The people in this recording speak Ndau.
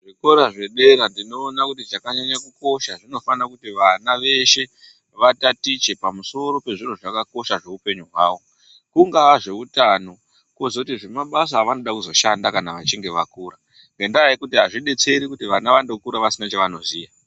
Zvikora zvedera tinoona kuti zvakanyanya kukosha zvinofana kuti vana veshe vatatiche pamusoro pezviro zvakakosha zveupenyu hwavo, kungava zveutano, kozotizve mabasa avanoda kuzoshanda kana vachinge vakure nendaa yekuti azvidetseri kuti vana vangokura vasina chavanoziva.